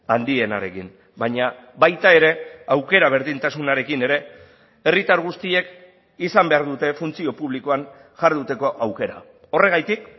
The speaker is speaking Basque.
handienarekin baina baita ere aukera berdintasunarekin ere herritar guztiek izan behar dute funtzio publikoan jarduteko aukera horregatik